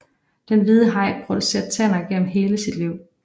Den hvide haj producerer tænder gennem hele sit liv